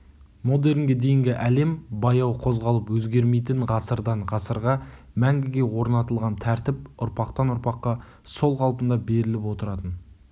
модернге дейінгі әлем баяу қозғалып өзгермейтін ғасырдан ғасырға мәңгіге орнатылған тәртіп ұрпақтан-ұрпаққа сол қалында беріліп отыратын